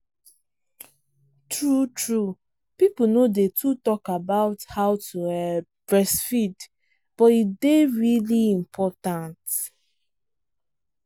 true truepeople no day too talk about how to um breastfeed but e day really important